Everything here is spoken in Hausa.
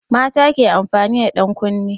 Mata ke amfani da ɗankunne.